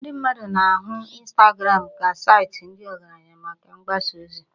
Ndị mmadụ na-ahụ Instagram ka saịtị ndị ọgaranya maka mgbasa ozi